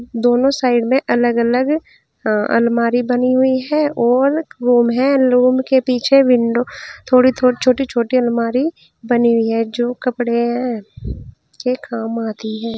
दोनों साइड में अलग अलग अ अलमारी बनी हुई है और रूम है। रूम के पीछे विंडो थोड़ी थो छोटी छोटी अलमारी बनी है। जो कपड़े हैं के काम आती है।